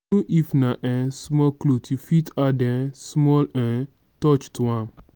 even if na um small clothe you fit add um small um touch to am.